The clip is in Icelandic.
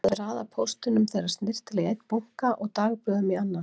Hún hafði raðað póstinum þeirra snyrtilega í einn bunka og dagblöðum í annan.